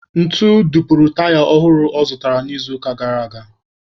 Ntu dupuru taya ọhụrụ ọ zụrụtara n'izuụka gara aga.